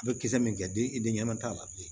A bɛ kisɛ min kɛ denɲɛrɛnin t'a la bilen